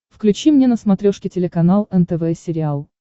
включи мне на смотрешке телеканал нтв сериал